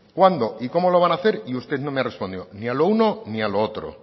cuándo y cómo lo van hacer y usted no me ha respondido ni a lo uno ni a lo otro